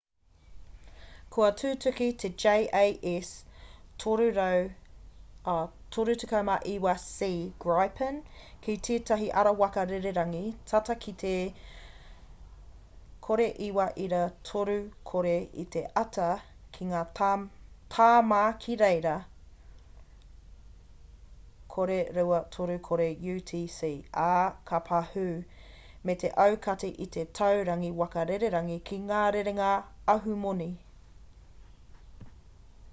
kua tutuki te jas 39c gripen ki tētahi ara waka rererangi tata ki te 09.30 i te ata ki te tāma ki reira 0230 utc ā ka pahū me te aukati i te tauranga waka rererangi ki ngā rerenga ahumoni